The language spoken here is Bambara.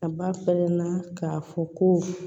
A ba fɛmɛnna k'a fɔ ko